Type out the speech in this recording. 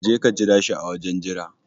Jeka ka jira shi a wajen jira